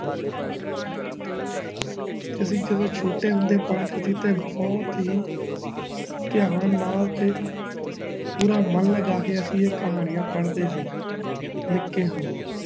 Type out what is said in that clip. ਤੁਸੀ ਜਦੋ ਸਹੋਤੇ ਹੁੰਦੇ ਪੜਦੇ ਸੀ ਤੇ ਬਹੁਤ ਹੀ ਤਆਂ ਨਾਲ ਤੇ ਮਨ ਲਗਾਕੇ ਅਸੀਂ ਇਹ ਕਹਾਣੀਆਂ ਪਦਾਦ ਸੀ ਨਿੱਕੇ ਹੁੰਦੇ